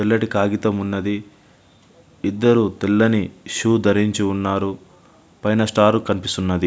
తెల్లటి కాగితము ఉన్నది. ఇద్దరు తెల్లని షూ ధరించి ఉన్నారు. పైన స్టార్ కనిపిస్తున్నది.